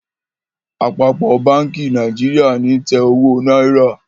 Àpapọ bánkì Nàìjíríà ní tè owó náírà.